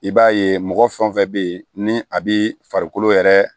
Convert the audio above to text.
I b'a ye mɔgɔ fɛn fɛn bɛ yen ni a bɛ farikolo yɛrɛ